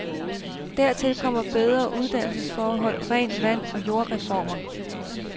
Dertil kommer bedre uddannelsesforhold, rent vand og jordreformer.